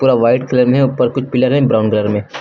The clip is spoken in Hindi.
पूरा व्हाईट कलर में है ऊपर कुछ पिलर हैं ब्राउन कलर में।